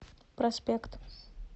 проспект